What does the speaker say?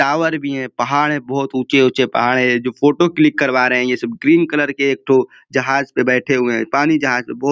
Tower भी है। पहाड़ हैं। बोहोत ऊँचे-ऊँचे पहाड़ हैं। ये जो फोटो क्लिक करवा रहे हैं ये सब। ग्रीन कलर के एक ठो जहाज पे बैठे हुए है। पानी जहाज पे बो --